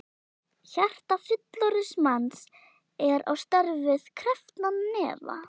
Hjarta fullorðins manns er á stærð við krepptan hnefa.